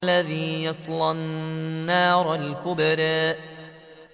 الَّذِي يَصْلَى النَّارَ الْكُبْرَىٰ